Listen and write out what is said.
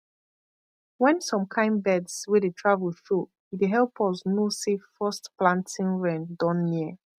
when some kind birds wey dey travel show e dey help us know say first planting rain don near